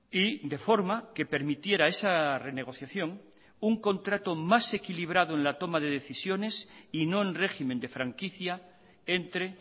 y de forma que permitiera esa renegociación un contrato más equilibrado en la toma de decisiones y no en régimen de franquicia entre